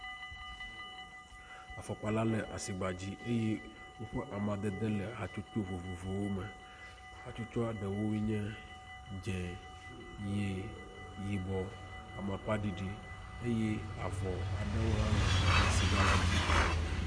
Afɔkpa la le asigba dzi eye woƒe amadede le hatsotso vovovowo me. Hatsotsoa ɖeo nye dze, ʋi, yibɔ, amakpa ɖiɖi eye avɔ aɖewo hã le asigba la dzi.